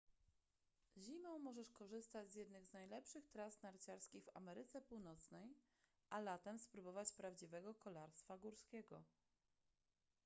zimą możesz korzystać z jednych z najlepszych tras narciarskich w ameryce północnej a latem spróbować prawdziwego kolarstwa górskiego